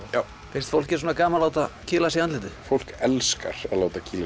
finnst fólki svona gaman að láta kýla sig í andlitið fólk elskar að láta kýla